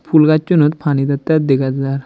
phool gajunot pani deteh degajar.